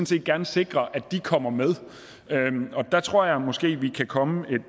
set gerne sikre at de kommer med og der tror jeg måske vi kan komme et